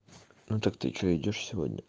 ну так ты что идёшь сегодня